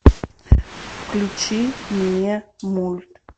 включи мне мульт